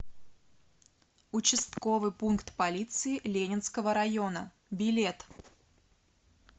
участковый пункт полиции ленинского района билет